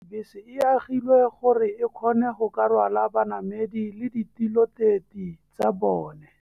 Bese e agilwe gore e kgone go ka rwala banamedi le ditiloteti tsa bone.